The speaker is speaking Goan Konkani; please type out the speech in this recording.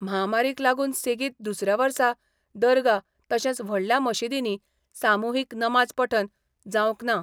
म्हामारीक लागून सेगीत दुसऱ्या वर्सा दर्गा तशेंच व्हडल्या मशिदींनी सामुहीक नमाज पठण जावंक ना.